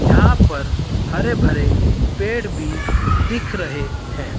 यहां पर हरे भरे पेड़ भी दिख रहे है।